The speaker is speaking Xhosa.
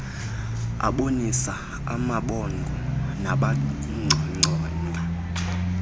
abonisa amabhongo nangacacanga